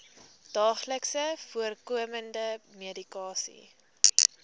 daagliks voorkomende medikasie